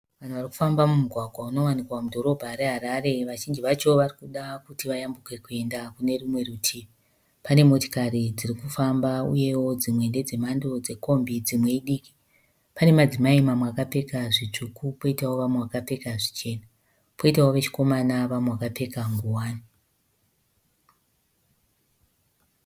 Munhu arikufamba mumugwagwa unowanikwa mudhorobha reHarare. Vazhinji vacho varikuda kuti vayambuke kuenda Kunerumwe rutivi. Pane motikari dzirikufamba, uyewo dzimwe ndedze mhando dzekombi dzimwe idiki. Pane madzimai mamwe akapfeka zvitsvuku poitawo vamwe vakapfeka zvichena. Poitawo vechikomana vamwe vakapfeka nguwani.